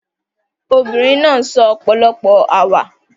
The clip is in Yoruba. The woman said many jokes